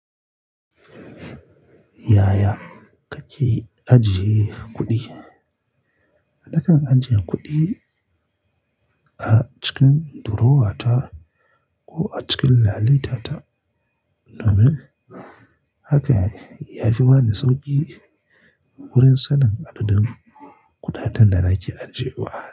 Yaya kake ajiye kuɗi? Nakan ajiye kuɗi a cikin durowa ta ko a cikin lalita ta. Domin hakan ya fi bani sauƙi wurin sanin adadin kuɗaɗen da nake ajiye wa.